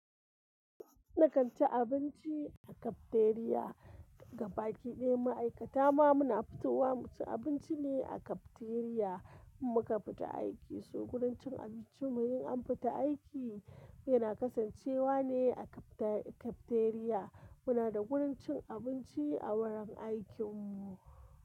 Na kan ci abinci a cafeteria. Gabaki ɗaya ma'aikata ma muna fitowa mu ci abinci ne a cafeteria in muka fita aiki. So wurin cin abincimu in an fita aiki yana kasancewa ne a cafeteria. Muna da wurin cin abinci a wurin aikin mu.